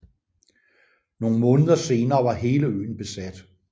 Nogle måneder senere var hele øen besat